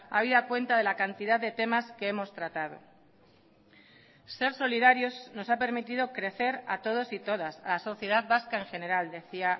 habida cuenta de la cantidad de temas que hemos tratado ser solidarios nos ha permitido crecer a todos y todas a la sociedad vasca en general decía